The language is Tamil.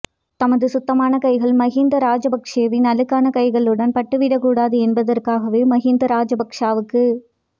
தமது சுத்தமான கைகள் மஹிந்த ராஜபக்சவின் அழுக்கான கைகளிலுடன் பட்டுவிடக்கூடாது என்பதற்காகவே மஹிந்த ராஜபக்சவுக்கு